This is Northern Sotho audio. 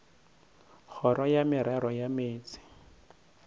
kgoro ya merero ya meetse